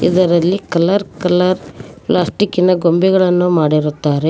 ಇದರಲ್ಲಿ colour colour plastic ನ ಗೊಂಬೆಗಳನ್ನು ಮಾಡಿರುತ್ತಾರೆ.